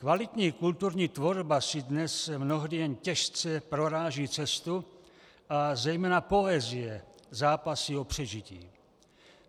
Kvalitní kulturní tvorba si dnes mnohdy jen těžce proráží cestu a zejména poezie zápasí o přežití.